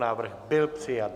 Návrh byl přijat.